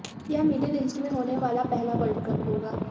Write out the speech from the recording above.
यह Middle East में होने वाला पहला वर्ल्ड कप होगा